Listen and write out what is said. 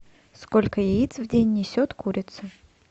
сколько яиц в день несет курица